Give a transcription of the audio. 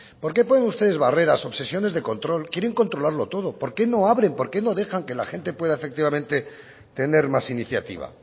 por qué ponen ustedes barreras obsesiones de control quieren controlarlo todo por qué no abren por qué no dejan que la gente pueda efectivamente tener más iniciativa